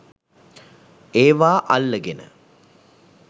ඒවා අල්ලගෙන